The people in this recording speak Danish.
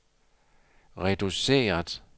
reduceret